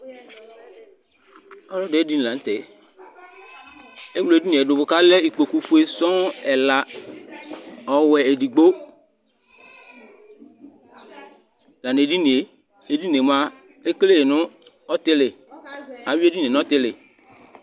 Ɔlɔdi ayʋ ɛdiní la ntɛ Ɛwle ɛdiní ye du kʋ alɛ ikpoku fʋe sɔɔ ɛla, ɔwɛ ɛdigbo la nʋ ɛdiní ye Ɛdiní ye mʋa ekele nʋ ɔtili Awi ɛdiní ye nʋ ɔtili